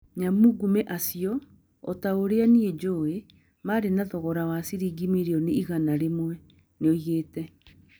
"Nyamũngumĩ acio - o ta ũrĩa niĩ njũũĩ - marĩ na thogora wa ciringi mirioni igana rĩmwe," nĩ oigĩte.